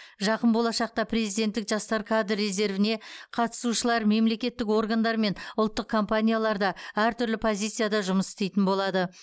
жақын болашақта президенттік жастар кадр резервіне қатысушылар мемлекеттік органдар мен ұлттық компанияларда әртүрлі позицияда жұмыс істейтін болады